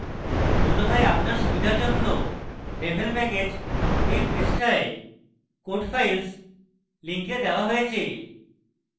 অন্যথায় আপনার সুবিধার জন্য devel প্যাকেজ এই পৃষ্ঠায় code files link দেওয়া হয়েছে